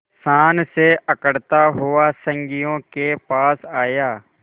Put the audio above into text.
शान से अकड़ता हुआ संगियों के पास आया